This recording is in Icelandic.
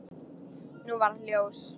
Nú varð ljós.